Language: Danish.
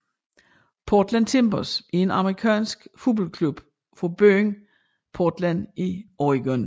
Portland Timbers er en amerikansk fodboldklub fra byen Portland i Oregon